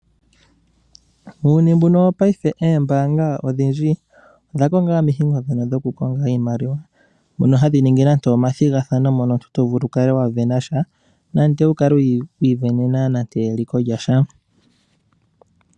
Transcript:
Muuyuni mbuno wopaife oombaanga odhindji odha konga omikalo ndhono dhokukonga iimaliwa, mono hadhi ningi nande omathigathano, mono omuntu to vulu okukala wa sindanasha, to vulu okukala wa mona nande eliko lya sha.